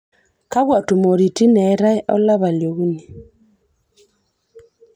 kakwa tumoritin eetae olapa li okuni